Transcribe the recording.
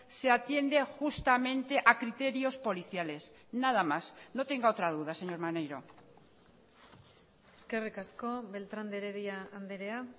se atiende justamente a criterios policiales nada más no tenga otra duda señor maneiro eskerrik asko beltrán de heredia andrea